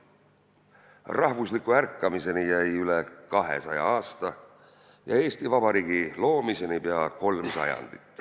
Rahvusliku ärkamiseni jäi üle 200 aasta ja Eesti Vabariigi loomiseni pea kolm sajandit.